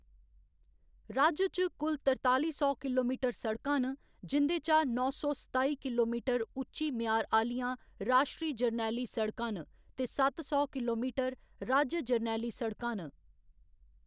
राज्य च कुल तरताली सौ किलोमीटर सड़कां न जिं'दे चा नौ सौ सताई किलोमीटर उच्ची म्यार आह्‌‌‌लियां राश्ट्री जरनैली सड़कां न ते सत्त सौ किलोमीटर राज्य जरनैली सड़कां न।